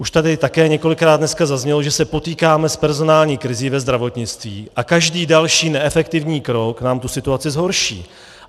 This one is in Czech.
Už tady také několikrát dneska zaznělo, že se potýkáme s personální krizí ve zdravotnictví a každý další neefektivní krok nám tu situaci zhorší.